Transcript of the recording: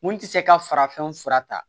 Mun tɛ se ka farafin fura ta